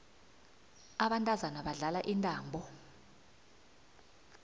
abantazana badlala intambo